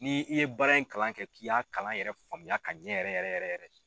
Ni i ye baara in kalan kɛ k'i y'a kalan yɛrɛ faamuya ka ɲɛ yɛrɛ yɛrɛ yɛrɛ.